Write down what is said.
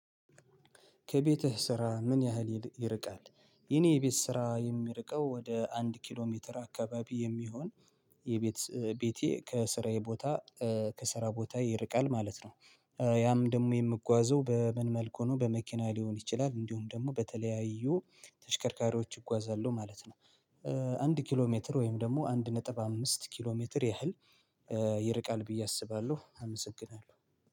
ከቤትህ ስራ ምን ያህል ይርቃል? የኔ ቤት ስራ የሚርቀው ወደ አንድ ኪሎ ሜትር አካባቢ የሚሆን። የቤት ቤቴ ከስራዬ ቦታ ከስራ ቦታ ይርቃል ማለት ነው። ያም ደግሞ የምጓዘው በምን መልኩ ነው በመኪና ሊሆን ይችላል እንዲሁም ደግሞ በተለያዩ ተሽከርካሪዎች ይጓዛለው ማለት ነው። አንድ ኪሎ ሜትር ወይም ደግሞ አንድ ነጥብ አምስት ኪሎ ሜትር ያህል። ይርቃል ብዬ አስባለሁ አመሰግናለሁ።